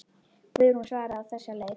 Guðrún svaraði á þessa leið.